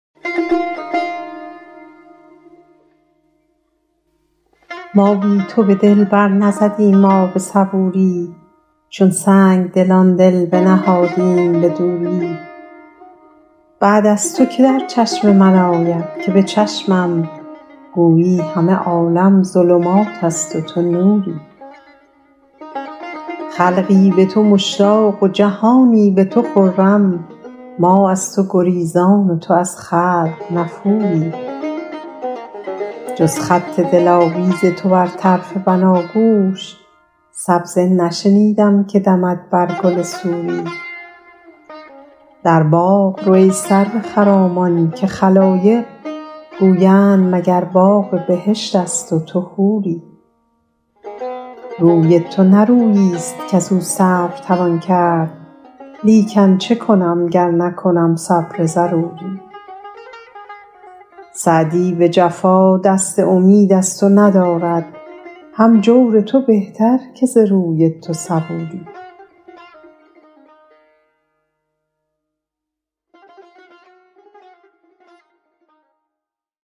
ما بی تو به دل بر نزدیم آب صبوری چون سنگدلان دل بنهادیم به دوری بعد از تو که در چشم من آید که به چشمم گویی همه عالم ظلمات است و تو نوری خلقی به تو مشتاق و جهانی به تو روشن ما در تو گریزان و تو از خلق نفوری جز خط دلاویز تو بر طرف بناگوش سبزه نشنیدم که دمد بر گل سوری در باغ رو ای سرو خرامان که خلایق گویند مگر باغ بهشت است و تو حوری روی تو نه روییست کز او صبر توان کرد لیکن چه کنم گر نکنم صبر ضروری سعدی به جفا دست امید از تو ندارد هم جور تو بهتر که ز روی تو صبوری